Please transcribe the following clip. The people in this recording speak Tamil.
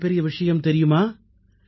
ஒரு மிகப்பெரிய விஷயம் தெரியுமா